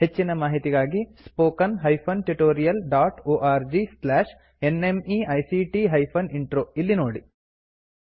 ಹೆಚ್ಚಿನ ಮಾಹಿತಿಗಾಗಿ spoken hyphen tutorial dot org slash ನ್ಮೈಕ್ಟ್ ಹೈಫೆನ್ ಇಂಟ್ರೋ ಇಲ್ಲಿ ನೋಡಿ